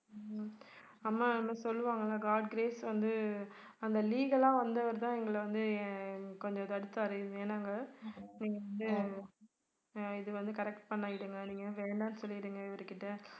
சொல்லுவாங்கல்ல god grace வந்து அந்த legal ஆ வந்தவர் தான் எங்கள வந்து ஆஹ் கொஞ்சம் தடுத்தாரு இதுவே நாங்க நீங்க வந்து இது வந்து corret நீங்க வேணான்னு சொல்லிடுங்க இவருகிட்ட